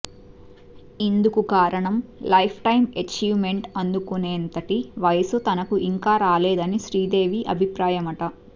ఇందుకు కారణం lifetime achievement అందుకునేంతటి వయసు తనకు ఇంకా రాలేదన్నది శ్రీదేవి అభిప్రాయమట